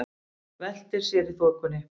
Veltir sér í þokunni.